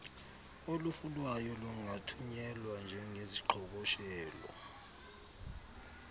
olufunwayo lungathunyelwa njengeziqhoboshelo